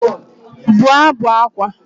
Bụọ ábụ̀ ákwá!